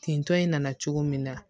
Tentɔ in nana cogo min na